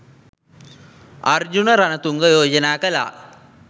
අර්ජුන රණතුංග යෝජනා කළා